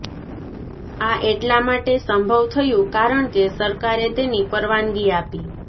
આ એટલા માટે સંભવ થયું કારણ કે સરકારે તેની પરવાનગી આપી